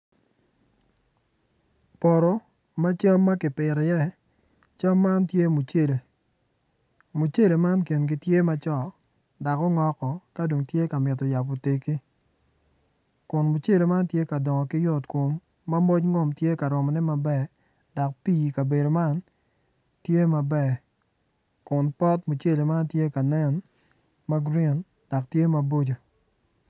Poto ma cam ma kipito iye cam man tye mucele, mucele man kono kingi tye macok dok ongok woko dok tye ka mito cako tegi kun mucele man tye ka dongo ki yot kom ma moc ngom tye ka romone matek dok pii tye ka romone matek.